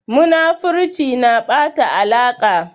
Munafurci na ɓata alaƙa.